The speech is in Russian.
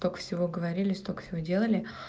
сколько всего говорили столько все делали